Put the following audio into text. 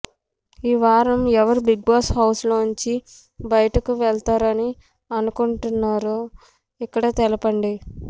ఈవారం ఎవరు Bigg Boss house లోంచి బయటకు వెళతారని అనుకుంటున్నారో ఇక్కడ తెలపండి